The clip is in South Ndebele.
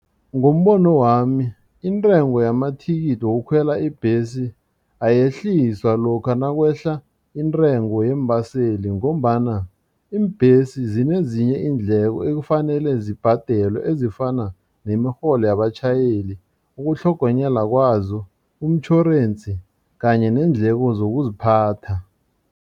Ngombono wami intengo yamathikithi wokukhwela ibhesi ayehliswa lokha nakwehla intengo yeembaseli ngombana iimbhesi zinezinye iindleko ekufanele zibhadelwe ezifana nemirholo yabatjhayeli ukutlhogonyelwa kwazo umtjhorensi kanye neendleko zokuziphatha.